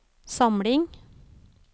samling